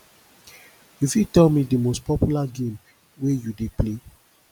you fit tell me di most popular game wey you dey play